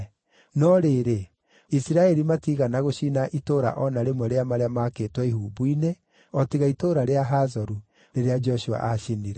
No rĩrĩ, Isiraeli matiigana gũcina itũũra o na rĩmwe rĩa marĩa maakĩtwo ihumbu-inĩ, o tiga itũũra rĩa Hazoru, rĩrĩa Joshua aacinire.